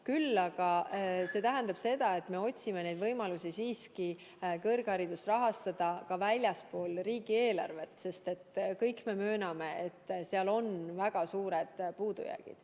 Küll aga tähendab see seda, et me otsime võimalusi rahastada kõrgharidust siiski ka väljaspool riigieelarvet, sest kõik me mööname, et seal on väga suured puudujäägid.